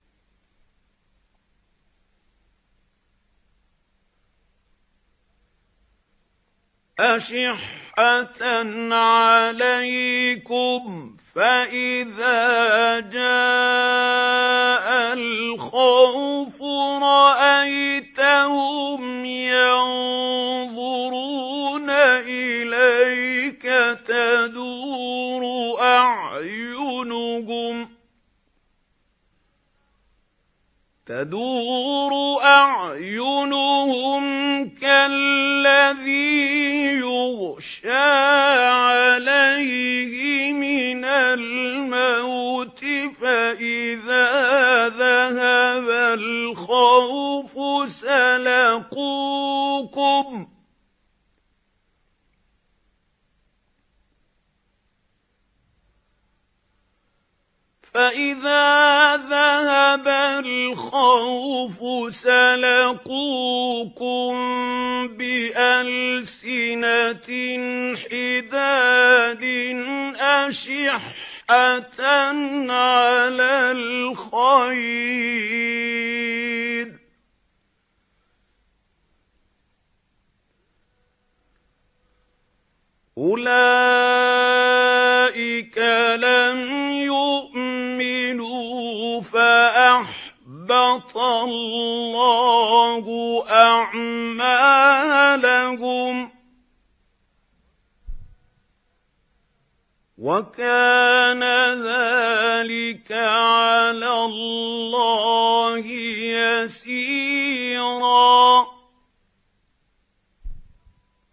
أَشِحَّةً عَلَيْكُمْ ۖ فَإِذَا جَاءَ الْخَوْفُ رَأَيْتَهُمْ يَنظُرُونَ إِلَيْكَ تَدُورُ أَعْيُنُهُمْ كَالَّذِي يُغْشَىٰ عَلَيْهِ مِنَ الْمَوْتِ ۖ فَإِذَا ذَهَبَ الْخَوْفُ سَلَقُوكُم بِأَلْسِنَةٍ حِدَادٍ أَشِحَّةً عَلَى الْخَيْرِ ۚ أُولَٰئِكَ لَمْ يُؤْمِنُوا فَأَحْبَطَ اللَّهُ أَعْمَالَهُمْ ۚ وَكَانَ ذَٰلِكَ عَلَى اللَّهِ يَسِيرًا